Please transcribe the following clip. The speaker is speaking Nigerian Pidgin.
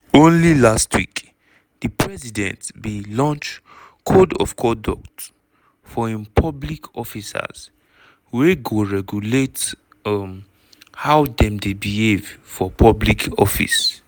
only last week di president bin launchcode of conduct for im public officerswey go regulate um how dem dey behave for public office.